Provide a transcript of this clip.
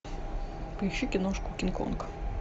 поищи киношку кинг конг